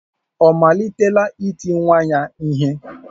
Ọ malitela iti nwa ya ihe?